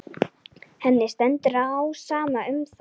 Henni stendur á sama um það.